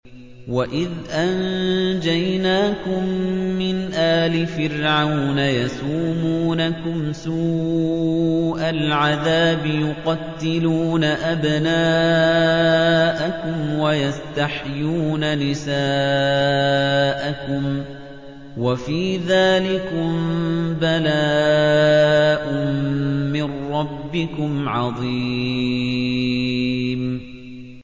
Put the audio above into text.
وَإِذْ أَنجَيْنَاكُم مِّنْ آلِ فِرْعَوْنَ يَسُومُونَكُمْ سُوءَ الْعَذَابِ ۖ يُقَتِّلُونَ أَبْنَاءَكُمْ وَيَسْتَحْيُونَ نِسَاءَكُمْ ۚ وَفِي ذَٰلِكُم بَلَاءٌ مِّن رَّبِّكُمْ عَظِيمٌ